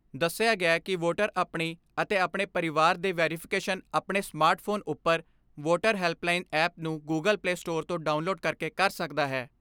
ਦੱਸਿਆ ਗਿਐ ਕਿ ਵੋਟਰ ਆਪਣੀ ਅਤੇ ਆਪਣੇ ਪਰਿਵਾਰ ਦੀ ਵੈਰਿਫਿਕੇਸ਼ਨ ਆਪਣੇ ਸਮਾਰਟ ਫੋਨ ਉੱਪਰ ਵੋਟਰ ਹੈਲਪਲਾਈਨ ਐਪ ਨੂੰ ਗੁਗਲ ਪਲੇ ਸਟੋਰ ਤੋਂ ਡਾਊਨਲੋਡ ਕਰਕੇ ਕਰ ਸਕਦਾ ਹੈ।